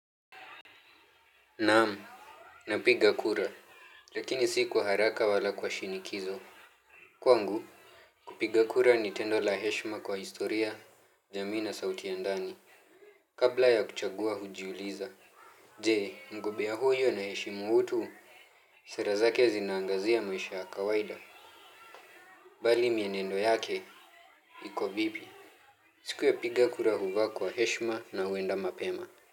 Naam. Napiga kura lakini si kwa haraka wala kwa shinikizo. Kwa ngu. Kupiga kura ni tendo la heshima kwa historia jamii na sauti ya ndani. Kabla ya kuchagua hujiuliza njee mgombea huyu anaheshimu utu. Sera zake zinaangazia maisha ya kawaida. Bali mienendo yake iko vipi. Siku ya kupiga kura huvaa kwa heshima na huenda mapema. Kwa hivyo.